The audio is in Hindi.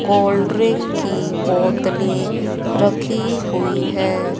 कोल्ड ड्रिंक की बोतलें रखी हुई हैं।